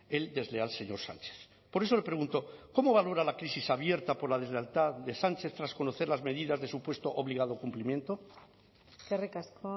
el desleal señor sánchez por eso le pregunto cómo valora la crisis abierta por la deslealtad de sánchez tras conocer las medidas de supuesto obligado cumplimiento eskerrik asko